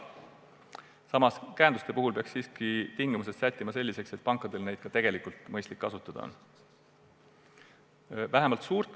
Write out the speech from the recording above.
Samas, käenduste puhul peaksid tingimused olema sellised, et pankadel oleks neid ka tegelikult mõistlik kasutada.